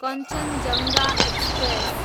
Kanchenjunga express